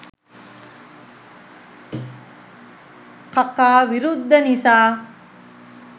කකා විරුද්ධ නිසා